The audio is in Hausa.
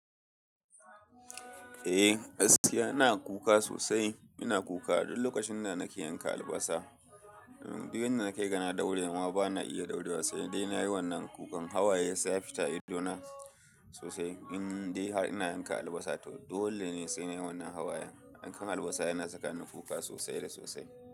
Eh gaskiya ina kuka sosai. Ina kuka duk lokacin da nake yanka albasa. Duk yanda na kai ga na daure ma bana iya daurewa sai dai na yi wannan kukan. Hawaya sai ya fita ido na sosai. Indai har ina yanka albasa toh dole ne sai nayi wannan hawayen. Yankan albasa yana saka ni kuka sosai da sosai.